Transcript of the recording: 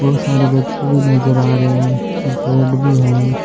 बहुत सारे व्यक्ति नजर आ रहे है और पेड़ भी है।